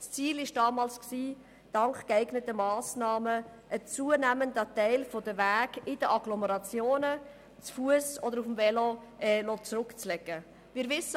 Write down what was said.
Dank geeigneten Massnahmen soll ein zunehmender Teil der Wege in den Agglomerationen zu Fuss oder mit dem Velo zurückgelegt werden.